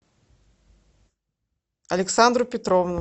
александру петровну